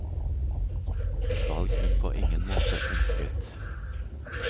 Et valg hun på ingen måte ønsket.